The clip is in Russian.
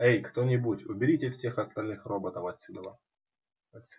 эй кто-нибудь уберите всех остальных роботов отсюда